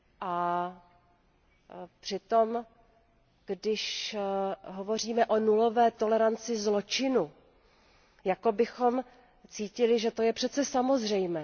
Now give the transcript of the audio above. A přitom, když hovoříme o nulové toleranci zločinu, jako bychom cítili, že to je přece samozřejmé.